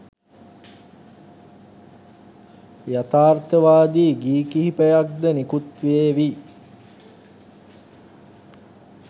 යතාර්ථවාදී ගී කිහිපයක් ද නිකුත් වේවී